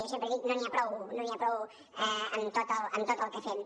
jo sempre dic no n’hi ha prou no n’hi ha prou amb tot el que fem